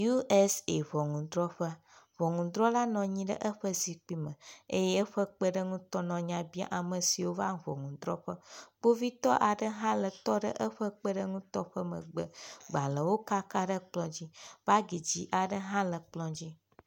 USA ŋɔnudrɔƒe. Ŋɔnudrɔla nɔ anyi ɖe eƒe zikpui me eye eƒe kpeɖeŋutɔ nɔ nya bia ame siwo va ŋɔnudrɔƒe. Kpovitɔ aɖe hã le tɔ ɖe eƒe kpeɖeutɔ ƒe megbe. Gbalewo kaka ɖe kplɔ dzi. Bagi dzi aɖe hã le kplɔ dzi.